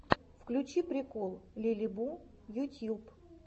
включи прикол лилибу ютюб